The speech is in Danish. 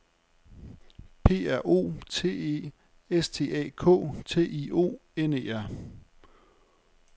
P R O T E S T A K T I O N E R